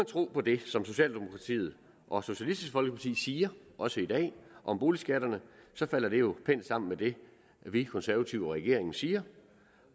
tro på det som socialdemokratiet og socialistisk folkeparti siger også i dag om boligskatterne falder det jo pænt sammen med det vi konservative og regeringen siger